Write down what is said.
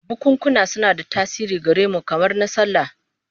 Bukunkuna suna da tasiri gare mu, kamar na sallah